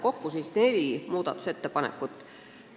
Kokku oli siis neli muudatusettepanekut.